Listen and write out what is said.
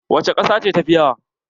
Wace ƙasa ce tafiya yawa?